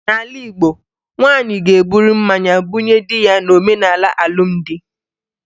N'ala Igbo, nwaanyị ga-eburu mmanya bunye di ya n'omenala alụmdi